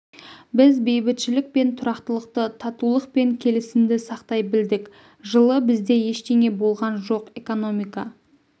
біз бейбітшілік пен тұрақтылықты татулық пен келісімді сақтай білдік жылы бізде ештеңе болған жоқ экономика